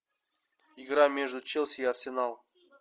игра между челси и арсеналом